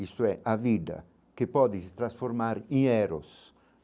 Isto é a vida que pode se transformar em eros.